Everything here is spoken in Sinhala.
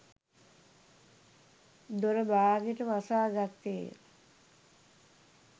දොර බාගෙට වසාගත්තේය.